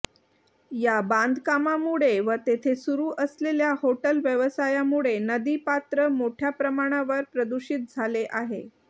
या बांधकामामुळे व तेथे सुरू असलेल्या हॉटेल व्यवसायामुळे नदी पात्र मोठया प्रमाणावर प्रदूषित झाले आहे